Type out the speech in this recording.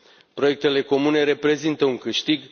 Proiectele comune reprezintă un câștig.